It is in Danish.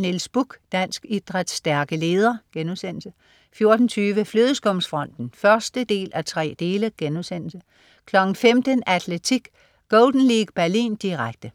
Niels Bukh. Dansk idræts stærke leder* 14.20 Flødeskumsfronten 1:3* 15.00 Atletik: Golden League Berlin, direkte